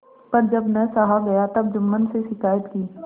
पर जब न सहा गया तब जुम्मन से शिकायत की